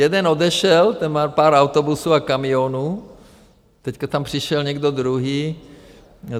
Jeden odešel, ten má pár autobusů a kamionů, teď tam přišel někdo druhý.